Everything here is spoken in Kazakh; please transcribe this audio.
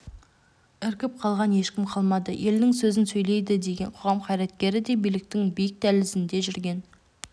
іркіп қалған ешкім қалмады елдің сөзін сөйлейді деген қоғам қайраткері де биліктің биік дәлізінде жүрген